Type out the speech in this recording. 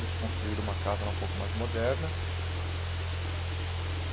Eles construíram uma casa lá um pouco mais moderna.